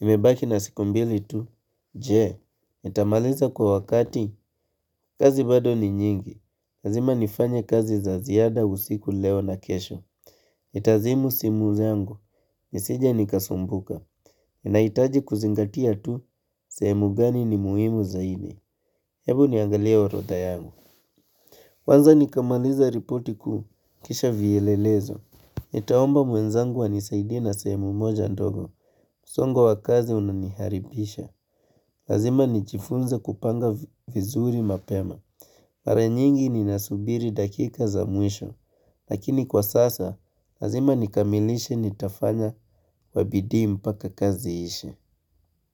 Imebaki na siku mbili tu. Je, itamaliza kwa wakati. Kazi bado ni nyingi. Lazima nifanye kazi za ziada usiku leo na kesho. Itazimu simu zangu. Nisije nikasumbuka. Inaitaji kuzingatia tu. Sehemu gani ni muhimu zaidi. Hebu niangalie horodha yangu. Kwanza nikamaliza ripoti kuu. Kisha vielelezo. Nitaomba mwenzangu wanisaidina sehemu moja ndogo. Msongo wakazi unaniharibisha. Lazima nijifunze kupanga vizuri mapema. Mara nyingi ninasubiri dakika za mwisho. Lakini kwa sasa, lazima nikamilishe nitafanya kwabidii mpaka kazi ishe.